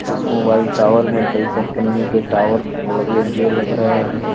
इस mobile tower में कई कम्पनियों के टावर लगे हुए लग रहे हैं।